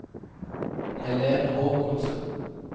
Helen Håkonsen